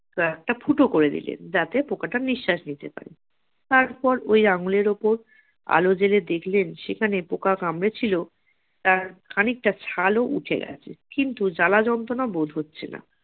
jar টা ফুটো করে দিলেন যাতে পোকাটা নিঃশ্বাস নিতে পারে তারপর ওই আঙুলের উপর আলো জেলে দেখলেন যেখানে পোকা কামড়ে ছিল তার খানিকটা ছাল ও উঠে গেছে কিন্তু জ্বালা যন্ত্রণা বোধ হচ্ছে না